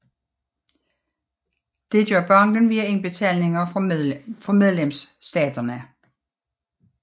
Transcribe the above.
Dette gør banken via indbetalinger fra medlemsstaterne